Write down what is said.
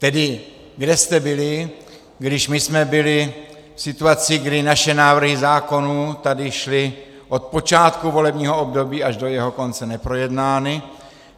Tedy kde jste byli, když my jsme byli v situaci, kdy naše návrhy zákonů tady šly od počátku volebního období až do jeho konce neprojednány?